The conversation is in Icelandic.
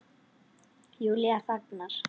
Júlía þagnar.